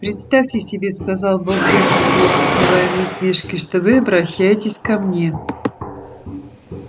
представьте себе сказал богерт с плохо скрываемой усмешкой что вы обращаетесь ко мне